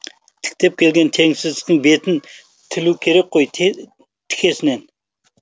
тіктеп келген тексіздіктің бетін тілу керек қой тікесінен